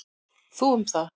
Þú um það.